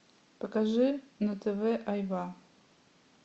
покажи на тв айва